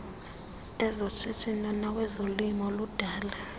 ezoshishino nawezolimo ludala